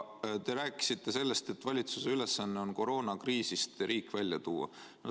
Te rääkisite sellest, et valitsuse ülesanne on riik koroonakriisist välja tuua.